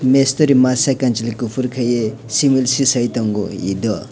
mistory masa kwnchwli kufur kaie session tongo edo.